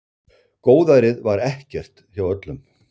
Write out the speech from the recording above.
Góðærið var ekkert hjá öllum.